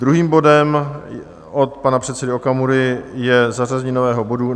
Druhým bodem od pana předsedy Okamury je zařazení nového bodu